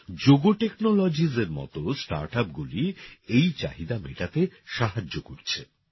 Jogo technologies এর মতো স্টার্টআপগুলি এই চাহিদা মেটাতে সাহায্য করছে।